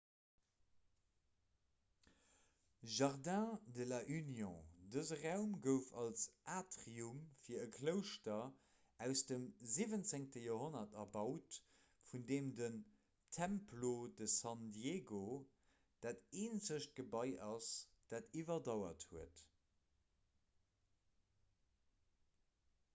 jardín de la unión dëse raum gouf als atrium fir e klouschter aus dem 17 joerhonnert erbaut vun deem den templo de san diego dat eenzegt gebai ass dat iwwerdauert huet